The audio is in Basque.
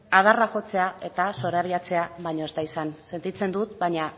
adarra jotzea eta zorabiatzea baino ez da izan sentitzen dut baina